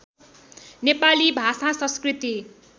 नेपाली भाषा संस्कृति